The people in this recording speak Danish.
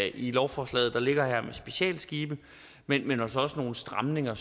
i lovforslaget der ligger her med specialskibe men men altså også nogle stramninger